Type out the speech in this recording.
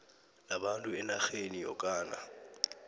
labantu enarheni yokana